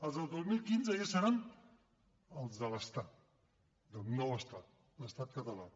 els del dos mil quinze ja seran els de l’estat d’un nou estat l’estat català